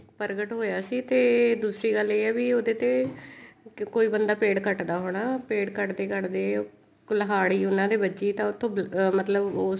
ਪ੍ਰਗਟ ਹੋਇਆ ਸੀ ਤੇ ਦੂਸਰੀ ਗੱਲ ਇਹ ਹੈ ਉਹਦੇ ਤੇ ਕੋਈ ਬੰਦਾ ਪੇੜ ਕੱਟਦਾ ਹੋਣਾ ਪੇੜ ਕੱਟਦੇ ਕੱਟਦੇ ਕੁਲਹਾੜੀ ਉਹਨਾ ਦੇ ਵੱਜੀ ਤਾਂ ਉੱਥੋਂ ਮਤਲਬ ਉਸ